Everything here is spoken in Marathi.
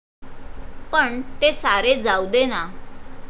पण ते सारे जाऊ दे ना.